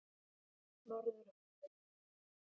Norðurhólum